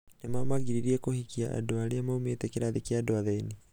nĩmamagiririe kũhikia andũ aria maumĩte kĩrathi kia andũ athĩni.